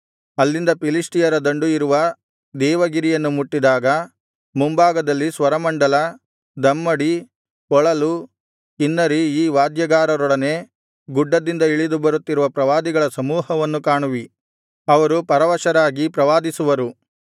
ಅಲ್ಲಿಂದ ಫಿಲಿಷ್ಟಿಯರ ದಂಡು ಇರುವ ದೇವಗಿರಿಯನ್ನು ಮುಟ್ಟಿದಾಗ ಮುಂಭಾಗದಲ್ಲಿ ಸ್ವರಮಂಡಲ ದಮ್ಮಡಿ ಕೊಳಲು ಕಿನ್ನರಿ ಈ ವಾದ್ಯಗಾರರೊಡನೆ ಗುಡ್ಡದಿಂದ ಇಳಿದು ಬರುತ್ತಿರುವ ಪ್ರವಾದಿಗಳ ಸಮೂಹವನ್ನು ಕಾಣುವಿ ಅವರು ಪರವಶರಾಗಿ ಪ್ರವಾದಿಸುವರು